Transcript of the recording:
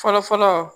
Fɔlɔ fɔlɔ